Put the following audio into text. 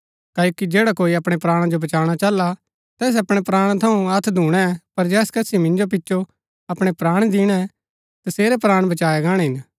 क्ओकि जैडा कोई अपणै प्राणा जो बचाणा चाहला तैस अपणै प्राणा थऊँ हथ्‍थ धूणै पर जैस कसी मिंजो पिचो अपणै प्राण दिणै तसेरै प्राण बचाया गाणै हिन